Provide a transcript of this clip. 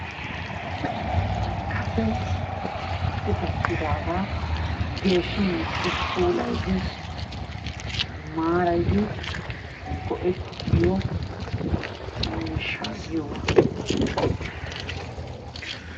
Kase qitattidaagaa geeshshi meecci puulayidi, maarayidi go'ettiyo miishshaa giyogaa.